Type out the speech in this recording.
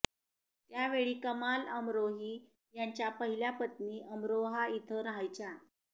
त्यावेळी कमाल अमरोही यांच्या पहिल्या पत्नी अमरोहा इथं राहायच्या